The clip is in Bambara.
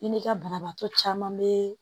I ni ka banabaatɔ caman be